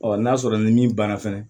n'a sɔrɔ ni min banna fɛnɛ